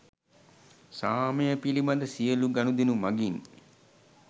සාමය පිළිබඳ සියළු ගනුදෙනු මගින්